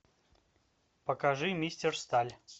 покажи мистер сталь